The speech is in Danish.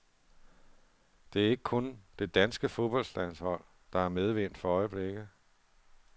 Det er ikke kun det danske fodboldlandshold, der har medvind for øjeblikket.